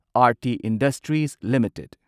Aarti Industries limited